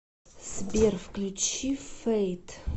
сбер включи фэйт